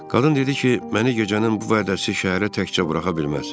Qadın dedi ki, məni gecənin bu vədəsi şəhərə təkcə buraxa bilməz.